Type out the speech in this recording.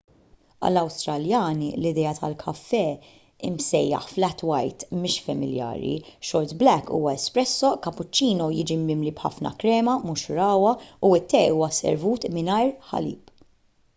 għall-awstraljani l-idea tal-kafè msejjaħ flat white” mhix familjari. short black” huwa espresso” kapuċċino jiġi mimli b’ħafna krema mhux ragħwa u t-te huwa servut mingħajr ħalib